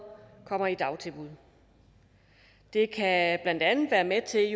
kommer i dagtilbud det kan blandt andet være med til